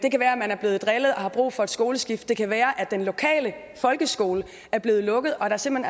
man er blevet drillet og har brug for et skoleskift det kan være at den lokale folkeskole er blevet lukket og at der simpelt